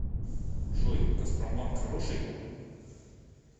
джой газпромбанк хороший